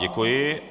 Děkuji.